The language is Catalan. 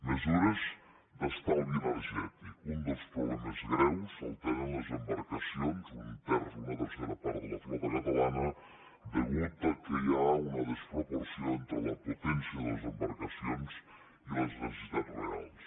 mesures d’estalvi energètic un dels problemes greus el tenen les embarcacions un terç una tercera part de la flota catalana atès que hi ha una desproporció entre la potència de les embarcacions i les necessitats reals